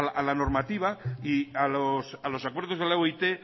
a la normativa y a los acuerdos de la oit